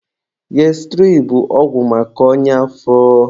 Gastirid bụ ọgwụ maka ọnya afọ.